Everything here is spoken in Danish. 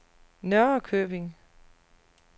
Norrköping